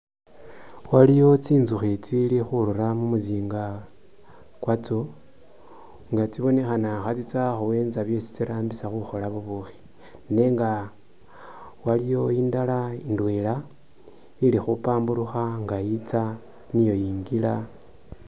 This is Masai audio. Waliyo tsinzukhi itsili khurura mu musinga kwatso nga tsibonekhana khatsitsa khuwentsa byesi tsirambisa khukhola bubushi nenga waliwo indala indwela ili khupamburukha nga itsa niya ingila.